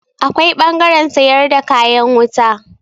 Akwai ɓangaren sayar da kayan wuta.